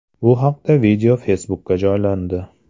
Bu haqdagi video Facebook’ga joylandi .